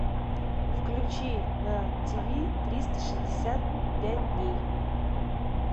включи на тиви триста шестьдесят пять дней